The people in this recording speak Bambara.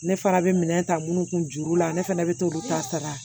Ne fana bɛ minɛn ta minnu kun juru la ne fana bɛ t'olu ta sara